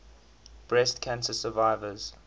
breast cancer survivors